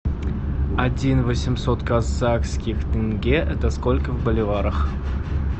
один восемьсот казахских тенге это сколько в боливарах